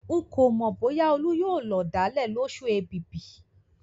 Ń kò mọ bóyá olú yóò lọ̀dálẹ̀ lósù èbìbì